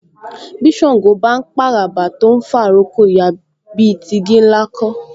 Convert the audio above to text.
Bí Ṣàngó bá ń p'àràbà tó ń fà'rókò ya, bí i ti igi ńlá kọ́